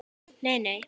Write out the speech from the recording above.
Nei nei.